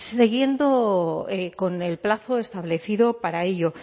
siguiendo con el plazo establecido para ello